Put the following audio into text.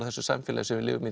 þessu samfélagi sem við lifum